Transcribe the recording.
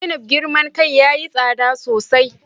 Zainab girman kai yayi tsada sosai